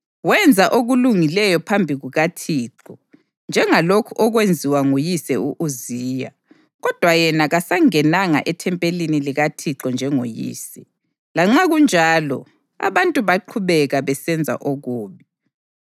Wenza okulungileyo phambi kukaThixo njengalokhu okwenziwa nguyise u-Uziya kodwa yena kasangenanga ethempelini likaThixo njengoyise. Lanxa kunjalo, abantu baqhubeka besenza okubi.